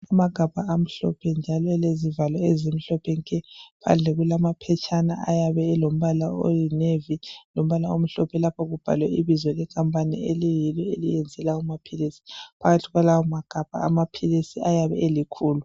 Amagabha amhlophe njalo alezivalo ezimhlophe nke. Phandle kulamaphetshana ayabe elombala oyinevi lombala omhlophe lapho okubhalwe ibizo lekampani eliyabe liyenze lawo maphilisi. Phakathi kwalawo magabha amaphilisi ayabe elikhulu.